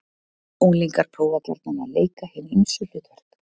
Unglingar prófa gjarnan að leika hin ýmsu hlutverk.